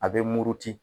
A bɛ muruti